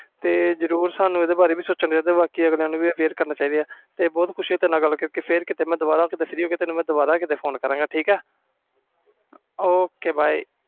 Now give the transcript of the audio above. ਤੇ ਜਰੂਰ ਸਾਨੂੰ ਇਹਦੇ ਬਾਰੇ ਸੋਚਣਾ ਚਾਹੀਦਾ ਆ ਤੇ ਬਹੁਤ ਖੁਸ਼ੀ ਹੋਈ ਤੇਰੇ ਨਾਲ ਗਲਕਰਕੇ ਫਿਰ ਕੀਤੇ ਮੈਂ ਗੱਲ ਕਰਾ ਗਏ ਫੋਨ ਕਰਕੇ ok bye